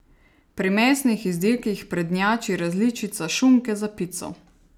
Pri mesnih izdelkih prednjači različica šunke za pico.